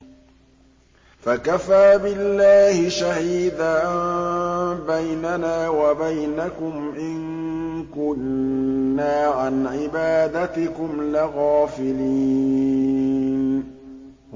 فَكَفَىٰ بِاللَّهِ شَهِيدًا بَيْنَنَا وَبَيْنَكُمْ إِن كُنَّا عَنْ عِبَادَتِكُمْ لَغَافِلِينَ